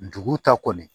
Dugu ta kɔni